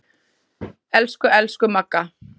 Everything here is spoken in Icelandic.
Elsku, elsku Magga.